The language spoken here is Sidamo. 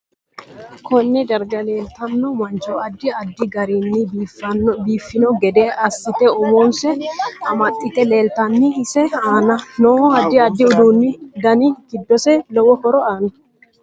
KOnne darga leeltanno mancho addi addi garinni biifanno gede asite umose amaxite leeltanno. ise aana noo addi addi uduunu dani giddosi lowo horo aanno